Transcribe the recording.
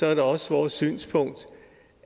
er det også vores synspunkt